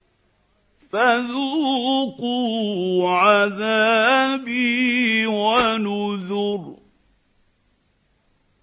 فَذُوقُوا عَذَابِي وَنُذُرِ